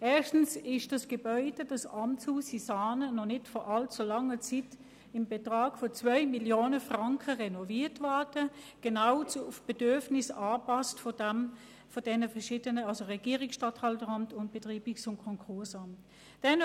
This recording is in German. Erstens wurde das Gebäude in Saanen vor nicht allzu langer Zeit für 2 Mio. Franken renoviert, angepasst an die Bedürfnisse des Regierungsstatthalteramts und des Betreibungs- und Konkursamts.